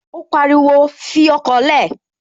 Ó pariwo, "Fi ọkọ̀ lẹ̀!"